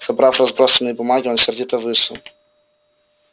собрав разбросанные бумаги он сердито вышел